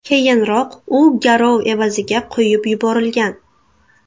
Keyinroq u garov evaziga qo‘yib yuborilgan .